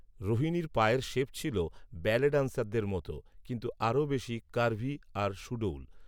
রোহিণীর পায়ের শেপ ছিল ব্যালে ডান্সারদের মতো, কিন্তু আরো বেশী কার্ভি আর সুডৌল